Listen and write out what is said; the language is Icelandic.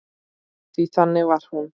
Því þannig var hún.